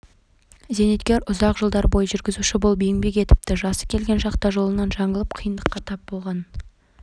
пробация қызметінің есебінде тұрған қария үйіне келген меймандарды көріп абдырап қалды қарттар күнімен құттықтап келеді